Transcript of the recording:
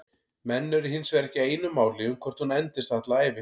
Menn eru hinsvegar ekki á einu máli um hvort hún endist alla ævi.